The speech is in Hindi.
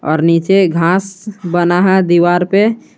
और नीचे घास बना है दीवार पे--